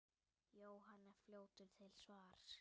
Jóhann er fljótur til svars.